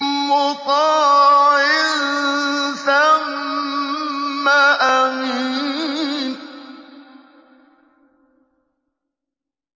مُّطَاعٍ ثَمَّ أَمِينٍ